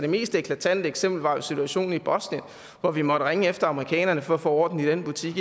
mest eklatante eksempel var jo situationen i bosnien hvor vi måtte ringe efter amerikanerne for at få orden i den butik